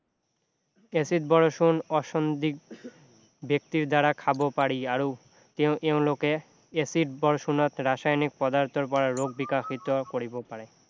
acid বৰষুণ ব্যক্তিৰ দ্বাৰা খাব পাৰি আৰু এওঁলোকে এচিড বৰষুণত ৰাসায়নিক পদাৰ্থৰ পৰা ৰোগ বিকাশিত কৰিব পাৰে